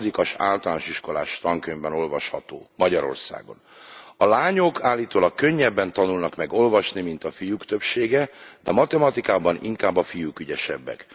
Egy hatodikos általános iskolás tankönyvben olvasható, Magyarországon a lányok állítólag könnyebben tanulnak meg olvasni, mint a fiúk többsége, de matematikában inkább a fiúk ügyesebbek.